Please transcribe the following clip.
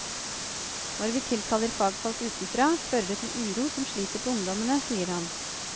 Når vi tilkaller fagfolk utenfra, fører det til uro som sliter på ungdommene, sier han.